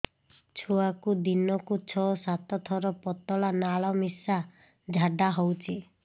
ଛୁଆକୁ ଦିନକୁ ଛଅ ସାତ ଥର ପତଳା ନାଳ ମିଶା ଝାଡ଼ା ହଉଚି